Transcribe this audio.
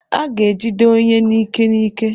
A ga-ejide onye n'ike n'ike.